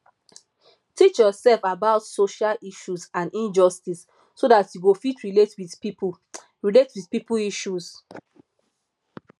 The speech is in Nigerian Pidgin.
teach yourself about social issues and injustice so dat you go fit relate with pipo relate with pipo issues